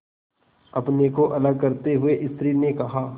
अपने को अलग करते हुए स्त्री ने कहा